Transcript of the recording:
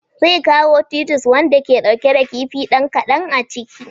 Zai kawo titus wanda ke ɗauke da kifi dan ƙadan a ciki.